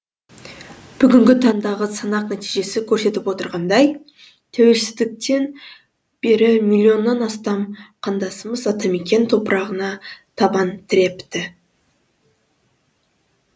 бүгінгі таңдағы санақ нәтижесі көрсетіп отырғандай тәуелсіздіктен бері милионнан астам қандасымыз атамекен топырағына табан тірепті